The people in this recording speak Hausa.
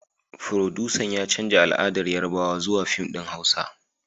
Furodusan ya canza al'adar Yarbawa zuwa fim din huasa